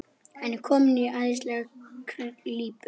Hann er kominn í ægilega klípu.